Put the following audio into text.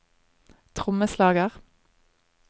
trommeslager